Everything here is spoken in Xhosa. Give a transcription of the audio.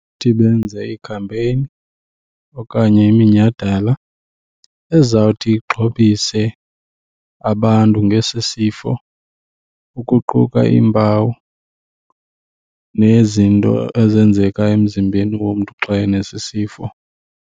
Benze iikhampeyini okanye iminyhadala ezawuthi ixhobise abantu ngesi sifo ukuquka iimpawu nezinto ezenzeka emzimbeni womntu xa enesi sifo.